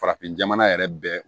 Farafin jamana yɛrɛ bɛɛ